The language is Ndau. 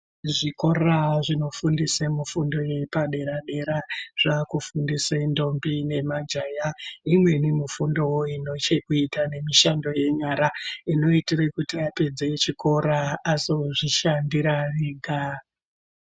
Zvikora zvino fundise mufundo yepa dera dera zvakufundisa ndombi nema jaya imweni mufundowo inochekuita nemishando yenyara inoitire kuti apedza chikora azozvi shandira ega.